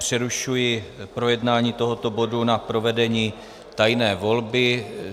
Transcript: Přerušuji projednání tohoto bodu na provedení tajné volby.